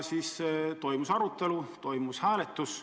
Siis toimus arutelu, toimus hääletus.